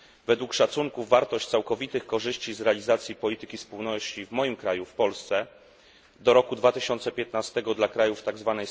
Według szacunków wartość całkowitych korzyści z realizacji polityki spójności w moim kraju, w Polsce, do roku 2015 dla krajów tzw.